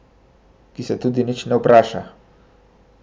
Ki se tudi nič ne vpraša.